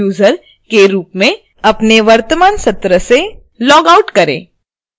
database administrative user के रूप में अपने वर्तमान सत्र से लॉगआउट करें